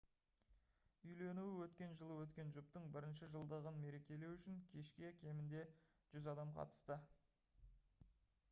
үйленуі өткен жылы өткен жұптың бірінші жылдығын мерекелеу үшін кешке кемінде 100 адам қатысты